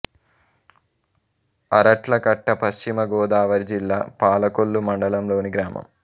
అరట్లకట్ట పశ్చిమ గోదావరి జిల్లా పాలకొల్లు మండలం లోని గ్రామం